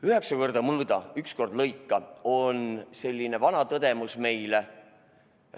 Üheksa korda mõõda, üks kord lõika – on selline vana õpetus meile.